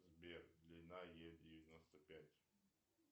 сбер длина е девяносто пять